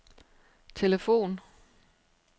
telefon